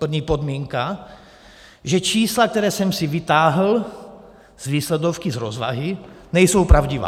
První podmínka, že čísla, která jsem si vytáhl z výsledovky, z rozvahy, nejsou pravdivá.